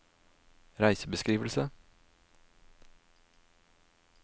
reisebeskrivelse